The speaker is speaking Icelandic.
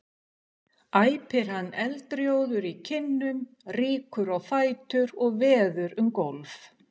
æpir hann eldrjóður í kinnum, rýkur á fætur og veður um gólf.